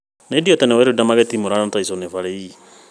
Nĩ Deontay Wilder magĩtitimũrana na Tyson Fury ii.